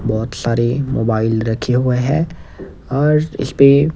बहुत सारे मोबाइल रखे हुए हैं और इस पे --